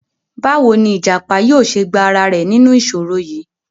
Báwo ni ìjàpá yóò ṣe gba ara rẹ̀ nínú ìṣòro yìí?